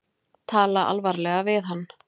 Tala alvarlega við hann.